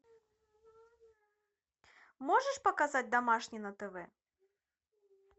можешь показать домашний на тв